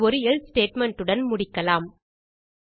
இதை ஒரு else statement உடன் முடிக்கலாம்